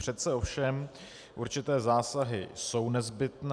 Přece ovšem určité zásahy jsou nezbytné.